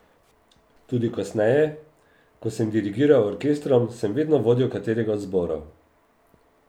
Tudi kasneje, ko sem dirigiral orkestrom, sem vedno vodil katerega od zborov.